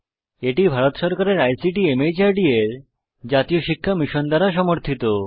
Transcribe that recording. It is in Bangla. এটি ভারত সরকারের আইসিটি মাহর্দ এর জাতীয় সাক্ষরতা মিশন দ্বারা সমর্থিত